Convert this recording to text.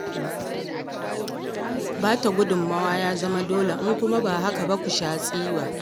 Ba ta gudummawa ya zama dole, in kuwa ba haka ba ku sha tsiwa.